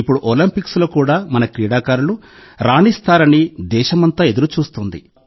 ఇప్పుడు ఒలింపిక్స్లో కూడా మన క్రీడాకారులు రాణిస్తారని దేశమంతా ఎదురుచూస్తోంది